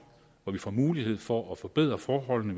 hvor vi får mulighed for at forbedre forholdene